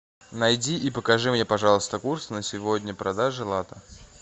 найди и покажи мне пожалуйста курс на сегодня продажи лата